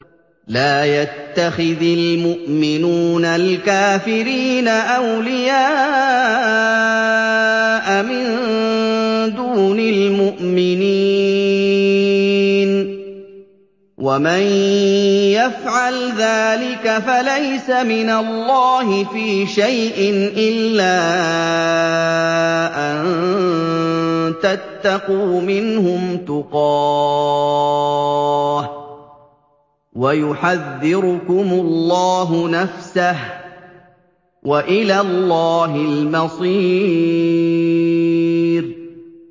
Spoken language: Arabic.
لَّا يَتَّخِذِ الْمُؤْمِنُونَ الْكَافِرِينَ أَوْلِيَاءَ مِن دُونِ الْمُؤْمِنِينَ ۖ وَمَن يَفْعَلْ ذَٰلِكَ فَلَيْسَ مِنَ اللَّهِ فِي شَيْءٍ إِلَّا أَن تَتَّقُوا مِنْهُمْ تُقَاةً ۗ وَيُحَذِّرُكُمُ اللَّهُ نَفْسَهُ ۗ وَإِلَى اللَّهِ الْمَصِيرُ